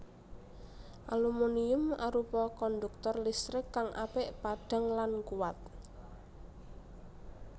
Aluminium arupa konduktor listrik kang apik padhang lan kuwat